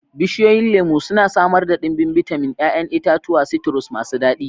Bishiyoyin lemu suna samar da ɗimbin bitamin, 'ya'yan itatuwa citrus masu daɗi.